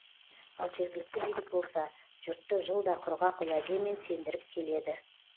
ал жергілікті билік болса жұртты жылда құрғақ уәдемен сендіріп келеді